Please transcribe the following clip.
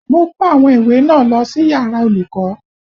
Mo kó àwọn ìwé náà lọ sí yàrá olùkọ́